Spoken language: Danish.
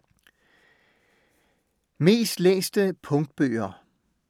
Mest læste Punktbøger